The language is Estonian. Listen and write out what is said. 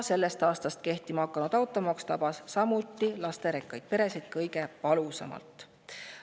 Sellest aastast kehtima hakanud automaks tabas samuti lasterikkaid peresid kõige valusamalt.